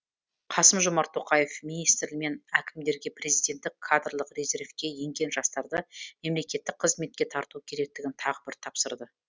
қасым жомарт тоқаев министрлер мен әкімдерге президенттік кадрлық резервке енген жастарды мемлекеттік қызметке тарту керектігін тағы бір тапсырды